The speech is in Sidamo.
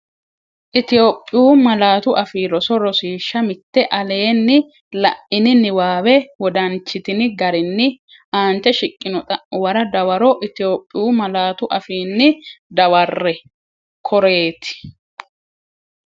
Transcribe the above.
Itophiyu Malaatu Afii Roso Rosiishsha Mite Aleenni la’ini niwaawe wodanchitini garinni aante shiqqino xa’muwara dawaro Itophiyu malaatu afiinni dawarre, koreeti?